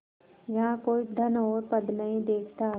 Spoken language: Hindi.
यहाँ कोई धन और पद नहीं देखता